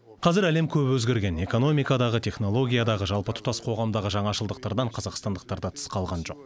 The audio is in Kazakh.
қазір әлем көп өзгерген экономикадағы технологиядағы жалпы тұтас қоғамдағы жаңашылдықтардан қазақстандықтар да тыс қалған жоқ